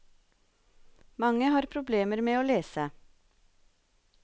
Mange har problemer med å lese.